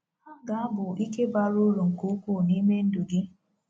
Ha ga-abụ ike bara uru nke ukwuu n’ime ndụ gị.